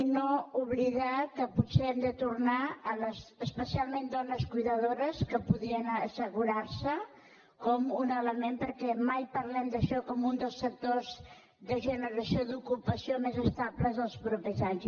i no oblidar que potser hem de tornar a les especialment dones cuidadores que podien assegurar se com un element perquè mai parlem d’això com un dels sectors de generació d’ocupació més estables dels propers anys